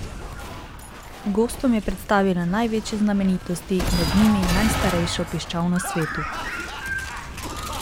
Gostom je predstavila največje znamenitosti, med njimi najstarejšo piščal na svetu.